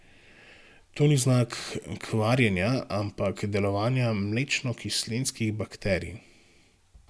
To ni znak kvarjenja, ampak delovanja mlečnokislinskih bakterij.